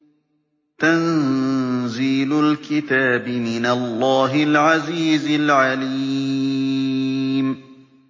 تَنزِيلُ الْكِتَابِ مِنَ اللَّهِ الْعَزِيزِ الْعَلِيمِ